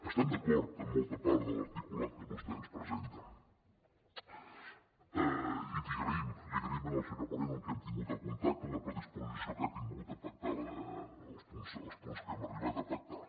estem d’acord amb molta part de l’articulat que vostè ens presenta i li agraïm al senyor moreno amb qui hem tingut el contacte la predisposició que ha tingut per pactar els punts que hem arribat a pactar